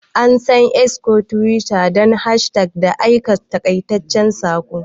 An san X ko Twitter don hashtags da aika taƙaitaccen saƙo.